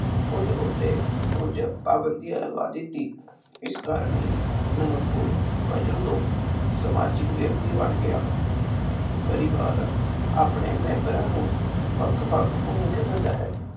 ਉਸ ਉੱਤੇ ਕੁਝ ਪਾਬੰਧੀਆਂ ਲਗਾ ਦਿੱਤੀ। ਇਸ ਕਾਰਨ ਹੀ ਮਨੁੱਖ ਪਸ਼ੂ ਤੋਂ ਸਮਾਜਿਕ ਵਿਅਕਤੀ ਬਣ ਗਿਆ ਪਰਿਵਾਰ ਆਪਣੇ ਮੇਮ੍ਬਰਾਂ ਨੂੰ ਵੱਖ ਵੱਖ ਦਿੰਦਾ ਹੈ।